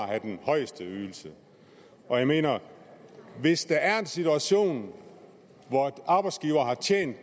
have den højeste ydelse jeg mener at hvis der er en situation hvor arbejdsgivere har tjent